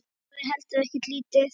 Það er heldur ekki lítið.